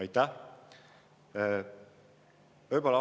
Aitäh!